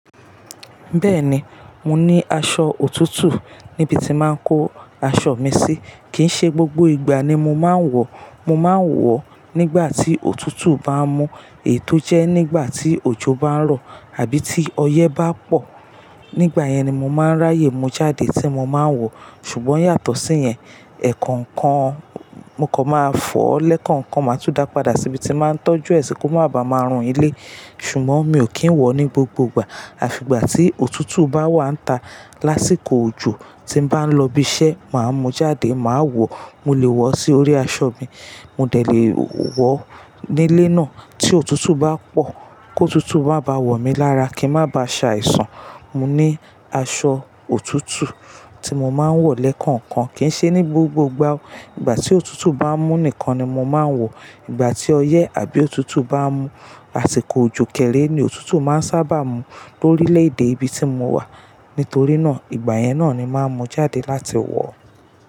Bẹ́ẹ̀ni, mo ní aṣọ òtútù níbi tí máa ń kó aṣọ mi sí. Kì í ṣe gbogbo ìgbà ni mo máa ń wọ̀. Mo máa ń wọ̀ nígbà tí òtútù bá mú, èyí tò jẹ́ nígbà tí òjò bá ń rọ̀ àbí tí ọyẹ́ bá pọ̀. Nígbà yẹn ni mo máa ń ráyè mú jáde tí mo máa ń wọ̀. Ṣùgbọ́n yàtọ̀ sí yẹn, ẹ̀ẹ̀kọ̀kan mo kò máa fọ̀, lẹ́ẹ̀kọ̀kan máa tú dá padà síbi tí màá ń tọ́jú ẹ sì kó máa ba máa run ilé. Ṣùgbọ́n mi ò kí ń wọ̀ ní gbogbo ìgbà. Àfi ìgbà tí òtútù bá wà ń íta lásìkò òjò tí m bá ń lọ ibi iṣẹ́, màá mú jáde, màá wọ̀. Mo lè wọ̀ sí orí aṣọ mi, mo dẹ̀ lè wọ̀ nílé náà. Tí òtútù bá pọ̀, kó òtútù bá ba wọ̀ mí lára, kí n má ba à ṣàìsàn, mo ní aṣọ òtútù tí mo máa ń wọ̀ lẹ́ẹ̀kọ̀kan. Kì í ṣe ní gbogbo ìgbà. Ìgbà tí òtútù bá ń mú nìkan ni mo máa ń wọ̀. Ìgbà tí ọyẹ́ àbí òtútù bá ń mú, àsìkò òjò kéré ni òtútù máa ń sábà mú lórílẹ̀ èdè ibi tí mo wà. Nítorí náà, ìgbà yẹn náà ni màá mú jáde láti wọ̀.